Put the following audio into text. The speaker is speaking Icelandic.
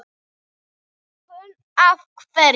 Hugrún: Af hverju?